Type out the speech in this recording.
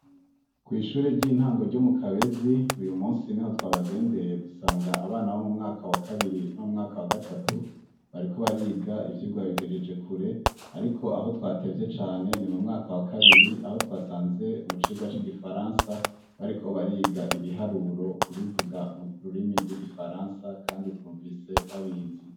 Kw'ishure ry'intango ryo mu Kabezi uyu musi niho twabagendeye dusanga abana bo mu mwaka wa kabiri no mu mwaka wa gatatu bariko bariga ivyigwa babigejeje kure, ariko aho twatevye cane ni mu mwaka wa kabiri aho twasanze mu cigwa c'igifaransa bariko bariga ibiharuro kubivuga mu rurimi rw'igifaransa kandi twumvise babizi.